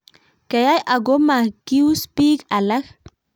keyai ago ma gius biik alak